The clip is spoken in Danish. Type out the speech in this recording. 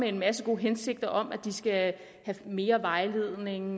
en masse gode hensigter om at de studerende skal have mere vejledning